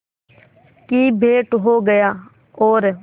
की भेंट हो गया और